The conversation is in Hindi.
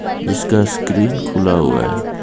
इसका स्क्रीन खुला हुआ है.